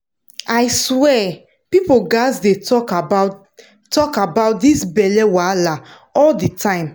i swear people gats dey talk about dey talk about this belle wahala all the time